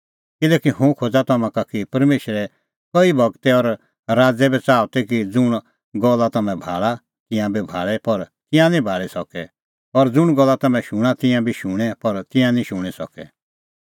किल्हैकि हुंह खोज़ा तम्हां का कि परमेशरे कई गूरै और राज़ै बी च़ाहअ कि ज़ुंण गल्ला तम्हैं भाल़ा तिंयां बी भाल़े पर तिंयां निं भाल़ी सकै और ज़ुंण गल्ला तम्हैं शूणां तिंयां बी शुणें पर तिंयां निं शूणीं सकै